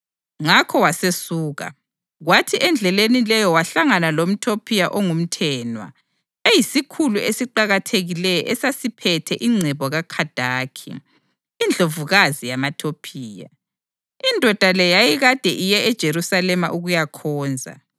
Ngakho wasesuka, kwathi endleleni leyo wahlangana lomTopiya ongumthenwa, eyisikhulu esiqakathekileyo esasiphethe ingcebo kaKhandaki, indlovukazi yamaTopiya. Indoda le yayikade iye eJerusalema ukuyakhonza,